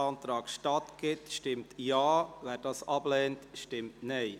Wer diesem statt gibt, stimmt Ja, wer diesen ablehnt, stimmt Nein.